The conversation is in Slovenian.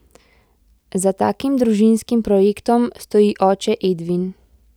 Za takim družinskim projektom stoji oče Edvin.